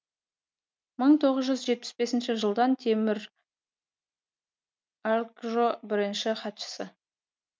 мың тоғыз жүз жетпіс бесінші жылдан темір алкжо бірінші хатшысы